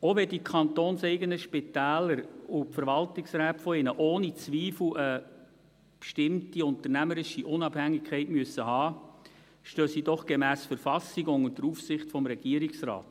Auch wenn die kantonseigenen Spitäler und deren Verwaltungsräte ohne Zweifel eine bestimmte unternehmerische Unabhängigkeit haben müssen, stehen sie doch gemäss Verfassung unter der Aufsicht des Regierungsrates.